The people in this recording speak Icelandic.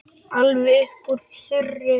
Alveg upp úr þurru?